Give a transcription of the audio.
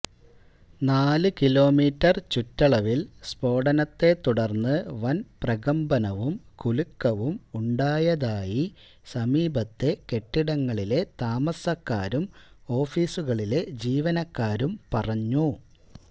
നാലു കിലോമീറ്റര് ചുറ്റളവില് സ്ഫോടനത്തെ തുടര്ന്ന് വന് പ്രകമ്ബനവും കുലുക്കവും ഉണ്ടായതായി സമീപത്തെ കെട്ടിടങ്ങളിലെ താമസക്കാരും ഓഫീസുകളിലെ ജീവനക്കാരും പറഞ്ഞു